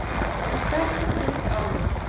Hvert er þitt álit?